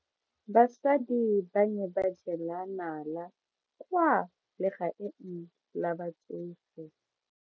Basadi ba ne ba jela nala kwaa legaeng la batsofe.